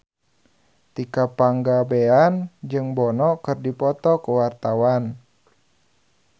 Tika Pangabean jeung Bono keur dipoto ku wartawan